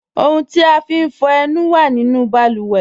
Ọ̀huǹ ti a fín fọ ẹ̀nù wà nínu bàlúwẹ̀